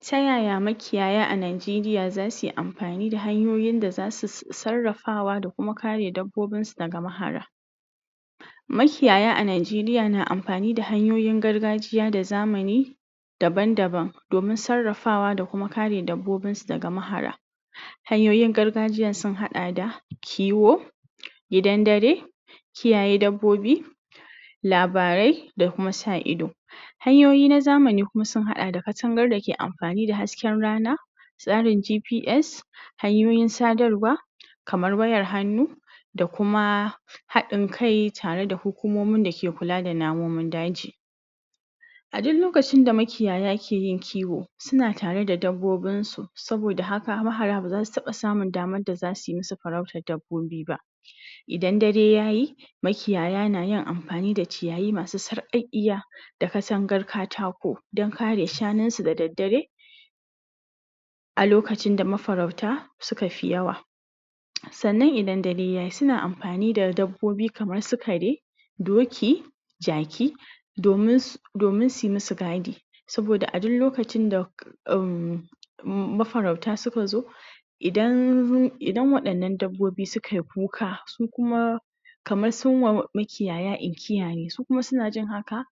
Ta yaya makiyaya a Nigeria za suyi amfani da hanyoyin da zasu sarrafa, da kuma ka re dabbobin su daga mahara. Makiyaya a Nigeria na amfani da hanyoyin gargajiya, da zamani daban-daban, domin sarrafawa da kuma ka re dabbobin su daga mahara. Hanyoyin gargajiyan sun haɗa da: kiwo, gidan dare, kiyaye dabbobi, labarai, da kuma sa'ido. Hanyoyi na zamani kuma sun haɗa da: katangar da ke amfani da hasken rana, tsarin GPS, hanyoyin sadarwa, kamar wayar hannu, da kuma haɗin kai tare da hukumomin da ke kula da namun daji. A duk lokacin da makiyaya ke yin kiwo suna tare da dabbobin su, saboda haka mahara ba zasu taɓa samun damar da za suyi musu farautar dabbobi ba. Idan dare yayi, makiyaya na yin amfani da ciyayi masu sarƙaƙiya, da katangar katako dan ka re shanun su da daddare, a lokacin da mafarauta suka fi yawa. Sannan idan dare yayi, suna amfani da dabbobi kamar su kare, doki, jaki, domin su domin suyi musu gadi. Saboda a duk lokacin da um mafarauta suka zo idan idan waɗan nan dabbobi sukai kuka, su kuma kamar sun wa makiyaya inkiya ne, su kuma suna jin haka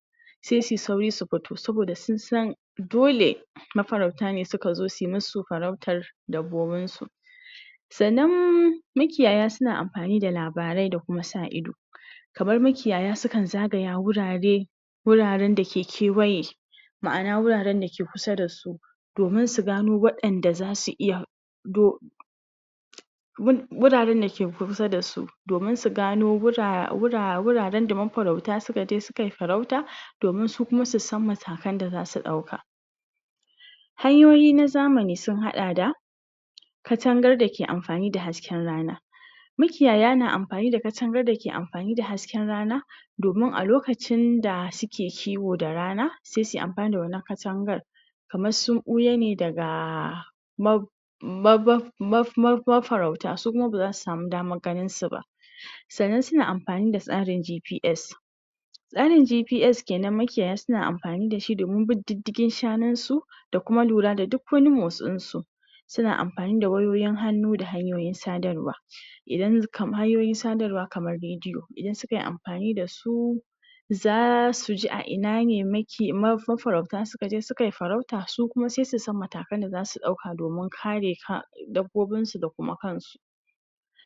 sai sui sauri su fito, saboda sun san dole mafarauta ne suka zo, sui musu farautar dabbobun su. Sannam makiyaya suna amfani da labarai, da kuma sa'ido, kamar makiyaya su kan zagaya wurare, wuraren da ke kewaye, ma'ana: wuraren da ke kusa da su, domin su gano wa'enda zasu iya wuraren da ke kusa da su, domin su gano wuraren da mafarauta suka je su kai farauta, domin su kuma su san matakan da zasu ɗauka. Hanyoyi na zamani sun haɗa da: katangar da ke amfani da hasken rana. Makiyaya na amfani da katangar da ke amfani da hasken rana, domin a lokacin da suke kiwo da rana, se sui amfani da wannan katangar, kamar sun ɓuya ne daga mafarauta, su kuma ba zasu samu damar ganin su ba. Sannan suna amfani da tsarin GPS. Tsarin GPS kenan, makiyaya suna amfani dashi domin bin diddigin shanun su, da kuma lura da duk wani motsin su. Suna amfani da wayoyin hannu da hanyoyin sadarwa. hanyoyin sadarwa kamar rediyo, idan sukai amfani da su, za suji a ina ne mafarauta suka je sukai farauta, su kuma sai su san matakan da zasu ɗauka domin ka re dabbobin su da kuma kan su.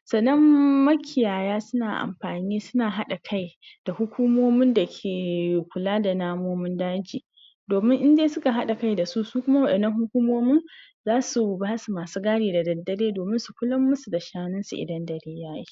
Sannam makiyaya suna haɗa kai da hukumomin da ke kula da namomin daji, domin in dai suka haɗa kai dasu, su kuma wa'innan hukumomin zasu basu masu gadi da daddare, domin su kulan musu da shanun su idan dare yayi.